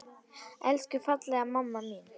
Elsku fallega mamma mín!